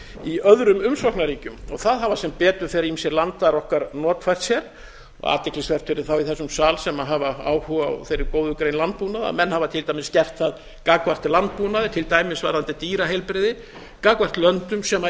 í öðrum umsóknarríkjum það hafa sem betur fer ýmsir landar okkar notfært sér athyglisvert fyrir þá í þessum sal sem hafa áhuga á þeirri góðu grein landbúnaði menn hafa til dæmis gert það gagnvart landbúnaði til dæmis varðandi dýraheilbrigði gagnvart löndum sem